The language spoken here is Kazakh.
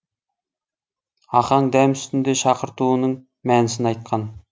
ақаң дәм үстінде шақыртуының мәнісін айтқан